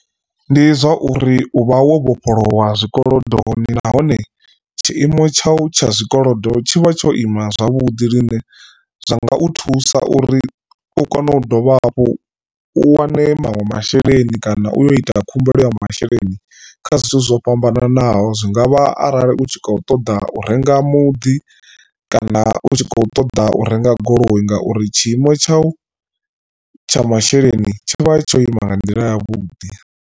Ndi zwa uri uvha wo vhofholowa zwikolodoni nahone tshiimo tshau tsha zwikolodo tshivha tsho ima zwavhuḓi zwine zwa nga u thusa uri u kone u dovha hafhu u wane maṅwe masheleni kana u yo ita khumbelo ya masheleni kha zwithu zwo fhambananaho. Zwingavha arali u tshi kho ṱoḓa u renga muḓi kana u tshi kho ṱoḓa u renga goloi ngauri tshiimo tshau tsha masheleni tsho vha tsho ima nga nḓila ya vhuḓi.